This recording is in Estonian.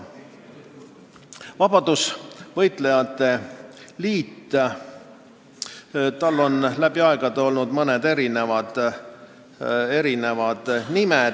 Vabadussõjalaste liidul on läbi aegade olnud mitu nime.